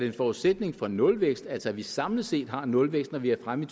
en forudsætning for nulvækst altså at vi samlet set har nulvækst når vi er fremme i